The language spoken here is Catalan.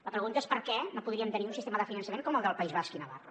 la pregunta és per què no podríem tenir un sistema de finançament com el del país basc i navarra